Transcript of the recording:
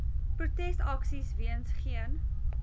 protesaksies weens geen